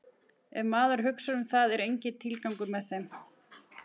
Ef maður hugsar um það er enginn tilgangur með þeim.